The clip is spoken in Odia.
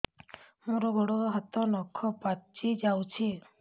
ମୋର ଗୋଡ଼ ହାତ ନଖ ପାଚି ଯାଉଛି